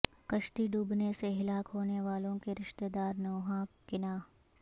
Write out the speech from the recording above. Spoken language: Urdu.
کشتی ڈوبنے سے ہلاک ہونے والوں کے رشتہ دار نوحا کناں